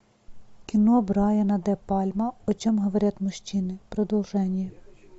кино брайана де пальмы о чем говорят мужчины продолжение